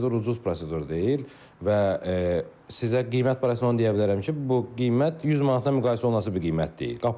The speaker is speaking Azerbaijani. Prosedur ucuz prosedur deyil və sizə qiymət barəsində onu deyə bilərəm ki, bu qiymət 100 manata münasib bir qiymət deyil.